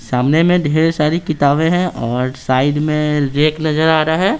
सामने में ढेर सारी किताबें हैं और साइड में रैक नजर आ रहा है।